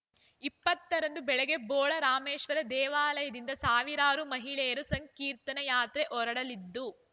ಇಪ್ಪತ್ತ ರಂದು ಬೆಳಗ್ಗೆ ಬೋಳರಾಮೇಶ್ವರ ದೇವಾಲಯದಿಂದ ಸಾವಿರಾರು ಮಹಿಳೆಯರು ಸಂಕೀರ್ತನಾ ಯಾತ್ರೆ ಹೊರಡಲಿದ್ದು